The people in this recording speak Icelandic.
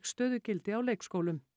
stöðugildi á leikskólum